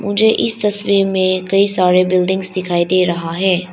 मुझे इस तस्वीर में कई सारे बिल्डिंग्स दिखाई दे रहा है।